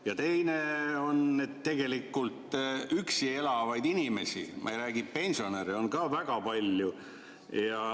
Ja teine on, et tegelikult üksi elavaid inimesi, ma ei räägi pensionäridest, on ka väga palju.